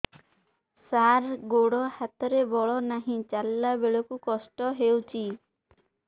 ସାର ଗୋଡୋ ହାତରେ ବଳ ନାହିଁ ଚାଲିଲା ବେଳକୁ କଷ୍ଟ ହେଉଛି